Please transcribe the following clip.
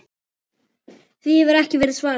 Því hefur ekki verið svarað.